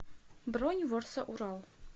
бронь ворса урал